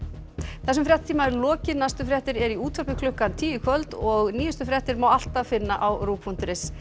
þessum fréttatíma er lokið næstu fréttir eru í útvarpi klukkan tíu í kvöld og nýjustu fréttir má alltaf finna á rúv punktur is